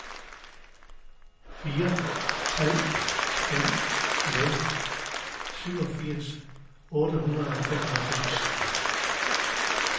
fire tre fem nul syvogfirs otte hundrede og femoghalvfems